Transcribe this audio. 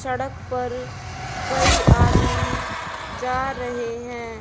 सड़क पर कई आदमी जा रहे हैं।